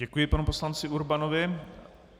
Děkuji panu poslanci Urbanovi.